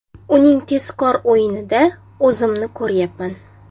Uning tezkor o‘yinida o‘zimni ko‘ryapman.